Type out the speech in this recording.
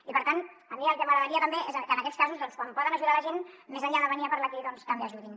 i per tant a mi el que m’agradaria també és que en aquests casos quan poden ajudar la gent més enllà de venir a parlar aquí doncs també ajudin